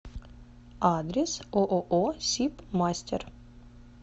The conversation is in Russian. адрес ооо сиб мастер